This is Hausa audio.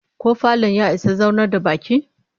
Ko falon ya isa zaunar da bakin?